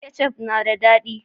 Kecaf na da dadi